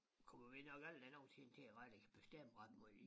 Kommer vi nok aldrig nogensinde til at rigtig bestemme ret meget i